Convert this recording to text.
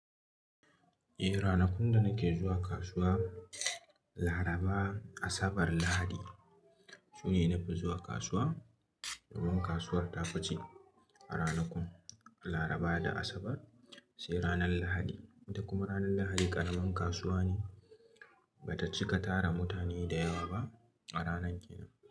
Eh ranakun da nake zuwa kasuwa, Laraba, Asabar, Lahadi shine nafi zuwa kasuwa. Domin kasuwar tafi ci a ranakun Laraba da Asabar, sai ranar Lahadi. Kuma ranar Lahadi ƙaramin kasuwa ne bata cika tara mutane da yawa ba a ranar kenan.